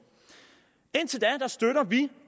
indtil da støtter vi